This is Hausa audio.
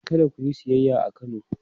Kada ku yi siyayya a Kano!